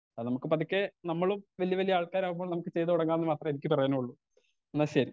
Speaker 2 അത് നമുക്ക് പതുക്കേ നമ്മലും വല്ല്യ വല്ല്യ ആൾക്കാരാകുമ്പോൾ നമുക്ക് ചെയ്ത് തൊടങ്ങാന്ന് മാത്രേ എനിക്ക് പറയാനുള്ളൂ ഇന്നാ ശെരി.